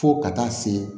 Fo ka taa se